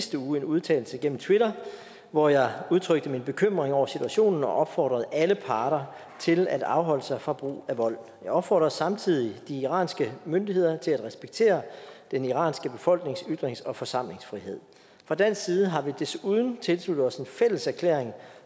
sidste uge en udtalelse gennem twitter hvor jeg udtrykte min bekymring over situationen og opfordrede alle parter til at afholde sig fra brug af vold jeg opfordrede samtidig de iranske myndigheder til at respektere den iranske befolknings ytrings og forsamlingsfrihed fra dansk side har vi desuden tilsluttet os en fælles erklæring